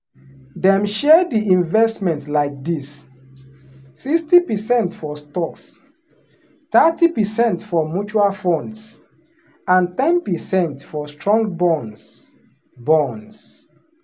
dem share the investment like this: 60 percent for stocks thirty percent for mutual funds and ten percent for strong bonds. bonds.